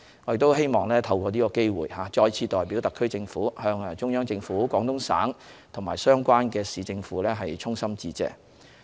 我希望透過是次機會再次代表香港特區政府向中央政府、廣東省及相關市政府衷心致謝。